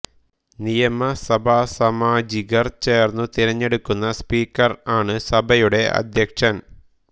നിയമസഭാ സാമാജികർ ചേർന്നു തിരഞ്ഞെടുക്കുന്ന സ്പീക്കർ ആണ് സഭയുടെ അധ്യക്ഷൻ